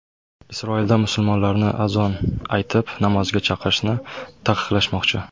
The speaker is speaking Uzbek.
Isroilda musulmonlarni azon aytib namozga chaqirishni taqiqlashmoqchi.